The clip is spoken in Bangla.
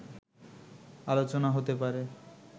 আলোচনা হতে পারে”